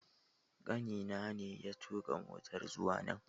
Kanina ne ya tuka motar zuwa nan